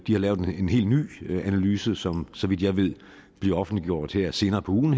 lavet en helt ny analyse som så vidt jeg ved bliver offentliggjort her senere på ugen